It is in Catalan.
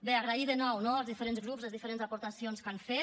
bé agrair de nou no als diferents grups les diferents aportacions que han fet